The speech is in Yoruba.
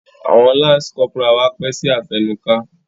Awọn lance corporal wá pẹ si afẹnuka.